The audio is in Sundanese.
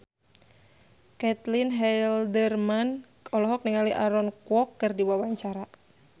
Caitlin Halderman olohok ningali Aaron Kwok keur diwawancara